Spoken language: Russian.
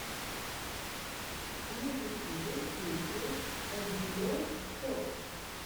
на ютюбе песня эндуро топ